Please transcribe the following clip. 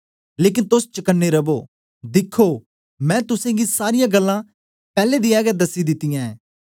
लेकन तोस चकने रवो दिखो मैं तुसेंगी सारीयां गल्लां पैले दीया गै दसी दितीयां ऐं